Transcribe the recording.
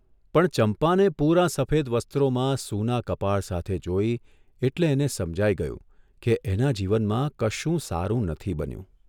પણ ચંપાને પૂરાં સફેદ વસ્ત્રોમાં સૂના કપાળ સાથે જોઇ એટલે એને સમજાઇ ગયું કે એના જીવનમાં કશું સારું નથી બન્યું.